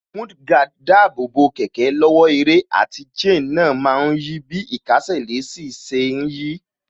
Mudguard dáàbò bo kẹ̀kẹ́ lọ́wọ́ ẹrẹ̀, àti chain náà má ń yí bí īkásè sí ṣe ń yí